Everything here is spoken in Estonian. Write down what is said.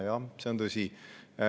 Jah, see on tõsi.